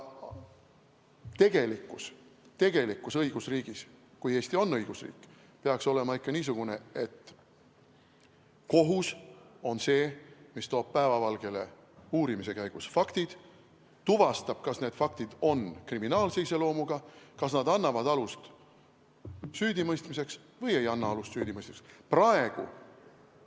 Tegelikkus õigusriigis – kui Eesti on õigusriik – peaks olema ikka niisugune, et kohus on see, mis toob uurimise käigus päevavalgele faktid, tuvastab, kas need faktid on kriminaalse iseloomuga ja kas nad annavad alust süüdimõistmiseks või ei anna alust süüdimõistmiseks.